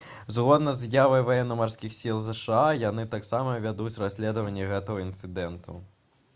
згодна з заявай ваенна-марскіх сіл зша яны таксама вядуць расследаванне гэтага інцыдэнту